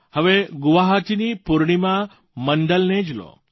હવે ગુવાહાટીની પૂર્ણિમા મંડલને જ લો